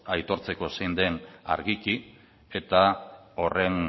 aitortzeko zein den argiki eta horren